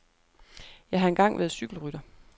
Jeg har engang været cykelrytter.